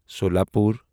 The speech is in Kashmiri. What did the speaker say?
سولاپور